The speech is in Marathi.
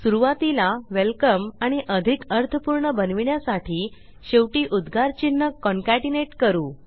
सुरूवातीला वेलकम आणि अधिक अर्थपूर्ण बनविण्यासाठी शेवटी उद्गार चिन्ह कॉन्केटनेट करू